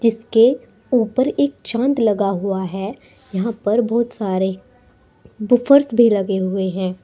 इसके ऊपर एक चांद लगा हुआ है यहां पर बहुत सारे वुफर्स भी लगे हुए हैं।